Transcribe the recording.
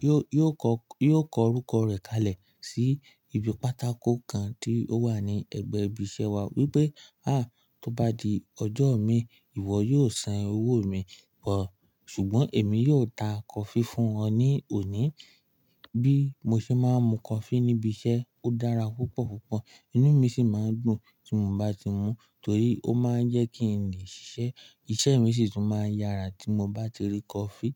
yóò, yóò kọ, yóò kọ orúkọ rẹ̀ kalẹ̀ sí ibi pátákò kan tí ó wà ní ẹ̀gbẹ́ ibi iṣẹ́ wa wípé "à tó bá di ọjọ́ mi, ìwọ yóò san owó mi bọ̀ ṣùgbọ́n èmi yóò ta coffee fún ẹ ní òní." Bí mo ṣe máa ń mu coffee ní ibi iṣẹ́, ó dára púpọ̀ púpọ̀. Inú mi sì máa ń dùn tí mo bá ti mú torí ó máa ń jẹ́ kí n lè ṣiṣẹ́. Iṣẹ́ mi sì tún máa ń yára tí mo bá ti rí coffee.